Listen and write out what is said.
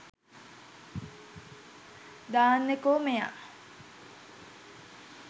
දාන්නකො මෙයා